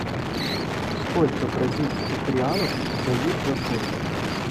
сколько бразильских реалов дают за фунт